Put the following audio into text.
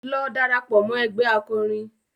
Lọ darapọ̀ mọ́ ẹgbé akọrin!